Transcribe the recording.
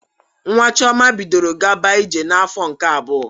Nwa Chiọma bidoro gaba ije n'afọ nke abụọ